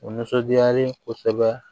O nisɔndiyalen kosɛbɛ